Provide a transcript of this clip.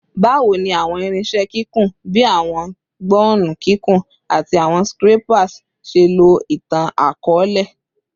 Bawo ni awọn irinṣẹ kikun, bii awọn gbọnnu kikun ati awọn scrapers, ṣe lo itan-akọọlẹ?